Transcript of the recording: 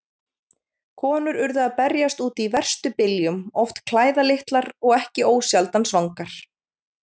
Konur urðu að berjast úti í verstu byljum, oft klæðlitlar og ekki ósjaldan svangar.